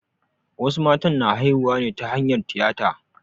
Wasu matan na haihuwa ne ta hanyar tiyata.